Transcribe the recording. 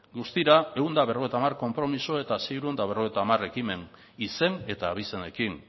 guztira ehun eta berrogeita hamar konpromiso eta seiehun eta berrogeita hamar ekimen izen eta abizenekin